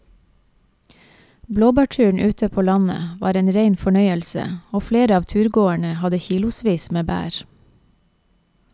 Blåbærturen ute på landet var en rein fornøyelse og flere av turgåerene hadde kilosvis med bær.